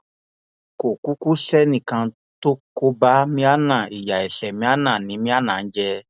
kò kúkú sẹnì kan tó kó bá maina ìyá ẹsẹ maina ni maina ń jẹ